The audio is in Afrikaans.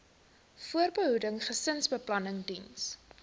voorbehoeding gesinsbeplanning diens